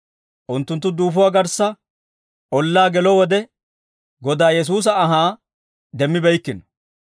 Unttunttu duufuwaa garssa ollaa gelo wode, Godaa Yesuusa anhaa demmibeykkino.